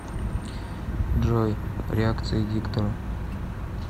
джой реакции диктора